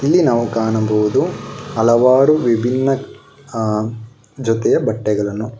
ಇಲ್ಲಿ ನಾವು ಕಾಣಬಹುದು ಹಲವಾರು ವಿಭಿನ್ನ ಆ ಜೊತೆಯ ಬಟ್ಟೆಗಳನ್ನು--